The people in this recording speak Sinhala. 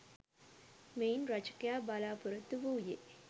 මෙයින් රචකයා බලාපොරොත්තු වූයේ